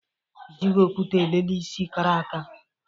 E jighị okwute elele isi kara aka